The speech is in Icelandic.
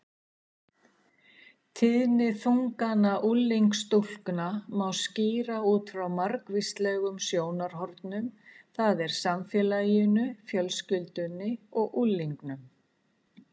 Tíðni þungana unglingsstúlkna má skýra út frá margvíslegum sjónarhornum, það er samfélaginu, fjölskyldunni og unglingnum.